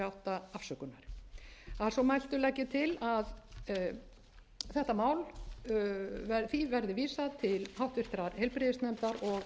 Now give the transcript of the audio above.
hundruð þrjátíu og átta afsökunar að svo mæltu legg ég til að frumvarpinu verði vísað til háttvirtrar heilbrigðisnefndar og